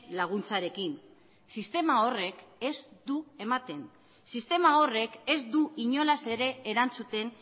laguntzarekin sistema horrek ez du ematen sistema horrek ez du inolaz ere erantzuten